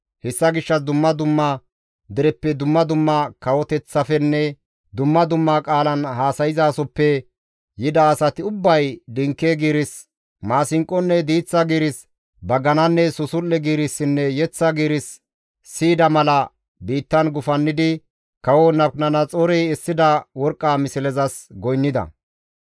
Hessa gishshas dumma dumma dereppe, dumma dumma kawoteththafenne dumma dumma qaalan haasayzaasoppe yida asati ubbay dinke giiris, maasinqonne diiththa giiris, bagananne susul7e giirissinne yeththa giiris siyida mala biittan gufannidi kawo Nabukadanaxoorey essida worqqa mislezas goynnida.